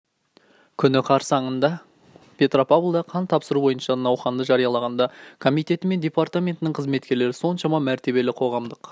күні қарсаныңда петропавлда қан тапсыру бойынша науқанды жариялағанда комитеті мен департаментінің қызметкерлері соншама мәртебелі қоғамдық